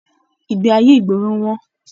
Ìgbé ayé ìgboro wọn.